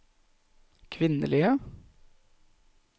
kvinnelige